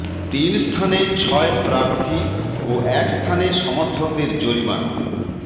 তিন স্থানে ছয় প্রার্থী ও এক স্থানে সমর্থকদের জরিমানা